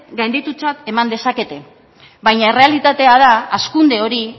gainditutzat eman dezakete baina errealitatea da hazkunde hori